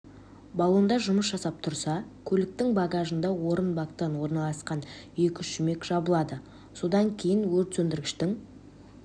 баллонда жұмыс жасап тұрса көліктің багажында отын бакта орналасқан екі шүмек жабылады содан кейін өртсөндіргіштің